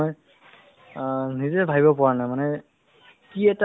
আ তোমাক মই কৈ বহুত আগতেতো মানে যিটো মোৰ